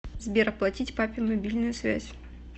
сбер оплатить папе мобильную связь